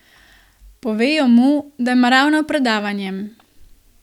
Povejo mu, da ima ravno predavanje.